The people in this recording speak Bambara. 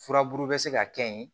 Furabulu bɛ se ka kɛ ye